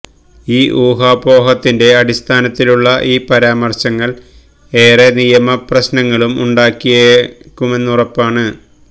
ഈ ഊഹാപോഹത്തിന്റെ അടിസ്ഥാനത്തിലുള്ള ഈ പരാമര്ശങ്ങള് ഏറെ നിയമ പ്രശ്നങ്ങളും ഉണ്ടാക്കിയേക്കുമെന്നുരപ്പാണ്